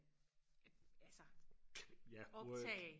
altså optage